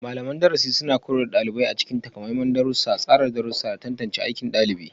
Malaman darasi suna koyar da ɗalibai a cikin takamaiman darussa, tsara darussa, da tantance aikin ɗalibi.